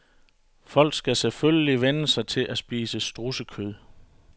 Folk skal selvfølgelig vænne sig til at spise strudsekød.